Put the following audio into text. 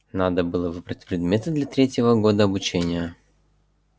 надо было выбрать предметы для третьего года обучения